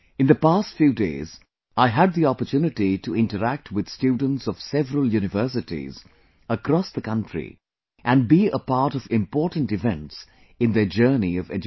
in the past few days I had the opportunity to interact with students of several universities across the country and be a part of important events in their journey of education